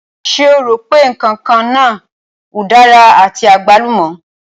Ṣé o rò pé ǹkan kan náà udara àti àgbálùmọ̀?